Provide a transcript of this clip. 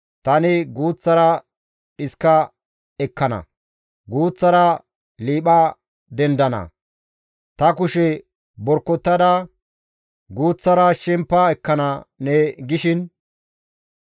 «Tani guuththara dhiska ekkana; guuththara liipha dendana; ta kushe borkotada guuththara shempa ekkana» ne gishin,